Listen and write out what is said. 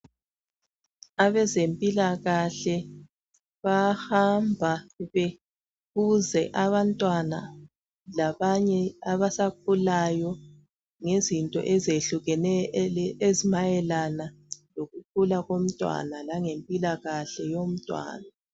Abezempilakahle bayahamba bebuze abantwana labanye abasakhulayo ngezinto ezehlukeneyo ezimayelana lokukhula komntwana langempilakahle yomntwana.